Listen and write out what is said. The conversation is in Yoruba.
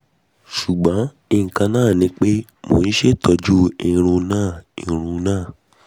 ṣugbọn nkan naa ni pe mo n ṣetọju irun naa irun naa